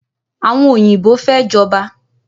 Àwọn oyinbo fẹ́ jọba